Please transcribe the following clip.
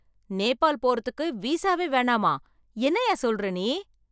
நேபால் போறதுக்கு விசாவே வேணாமா!? என்னய்யா சொல்லுற நீ?